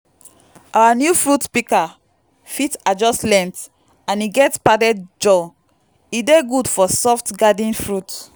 our new fruit pika fit adjust length and e get padded jaw e dey good for soft garden fruit.